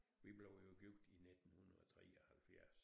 Vi blev jo gift i 1973